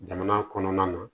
Jamana kɔnɔna na